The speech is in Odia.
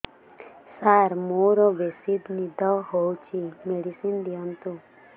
ସାର ମୋରୋ ବେସି ନିଦ ହଉଚି ମେଡିସିନ ଦିଅନ୍ତୁ